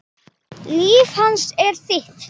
Líf hans er þitt.